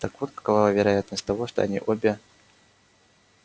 так вот какова вероятность того что они обе